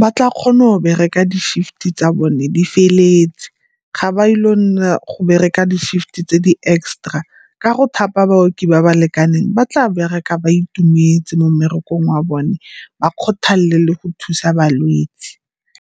ba tla kgona go bereka di-shift-e tsa bone di feleletse. Ga ba ile go nna go bereka di-shift-e tse di-extra ka go thapa baoki ba ba lekaneng ba tla bereka ba itumetse mo mmerekong wa bone ba kgothalele le go thusa balwetsi.